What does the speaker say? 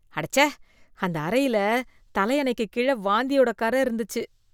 அடச்சே! அந்த அறையில் தலையணைக்கு கீழ வாந்தியோட கறை இருந்துச்சு.